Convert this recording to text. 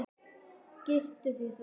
Girtu þig, þarna!